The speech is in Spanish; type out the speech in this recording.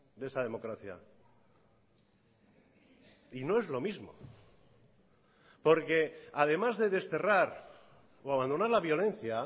de esa democracia y no es lo mismo porque además de desterrar o abandonar la violencia